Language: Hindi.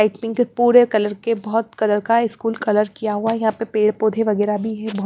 के पूरे कलर के बहुत कलर का स्कूल कलर किया हुआ है यहां पे पेड़ पौधे वगैरह भी--